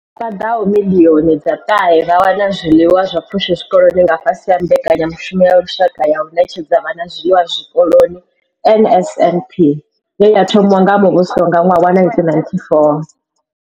Paḓaho miḽioni dza ṱahe vha wana zwiḽiwa zwa pfushi zwikoloni nga fhasi ha mbekanyamushumo ya lushaka ya u ṋetshedza vhana zwiḽiwa zwikoloni NSNP ye ya thomiwa nga muvhuso nga ṅwaha wa 1994.